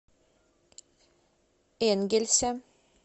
энгельсе